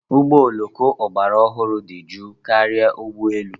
Ụgbọ oloko ọgbara ọhụrụ dị jụụ karịa ụgbọ elu.